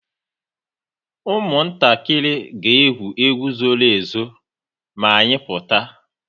Ụmụntakịrị ga-egwu egwu zoro ezo ma anyị pụta